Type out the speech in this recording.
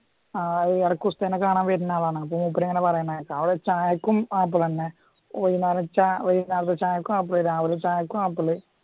ആ ഈടാക്കും ഉസ്താദിനെ കാണാൻ വരുന്ന ആളാണ് മൂപ്പരിങ്ങനെ പറയുന്ന കേൾക്കാം ചായക്കും ആപ്പിള് തന്നെ ഒരു നേരം ചാക്കും ആപ്പിള് രാവിലെ ചായക്കും ആപ്പിള്